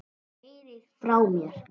Þú heyrir frá mér.